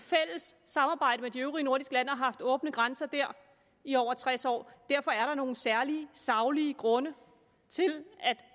samarbejde med de øvrige nordiske lande og har haft åbne grænser der i over tres år derfor er der nogle særlige saglige grunde til